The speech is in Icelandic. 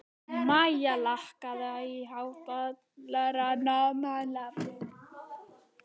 Mæja, lækkaðu í hátalaranum.